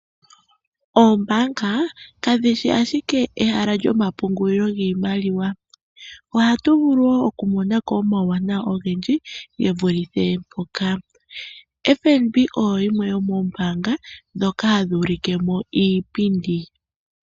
Oombaanga kadhi shi ashike ehala lyomapungulilo giimaliwa. Ohatu vulu wo okumona ko omawuwanawa ogendji ge vulithe mpoka. FNB oyo yimwe yomoombaanga ndhoka hadhi ulike mo iipindi.